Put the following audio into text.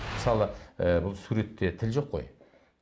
мысалы ы бұл суретте тіл жоқ қой